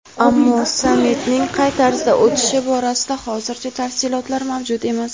ammo sammitning qay tarzda o‘tishi borasida hozircha tafsilotlar mavjud emas.